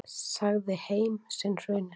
Sagði heim sinn hruninn.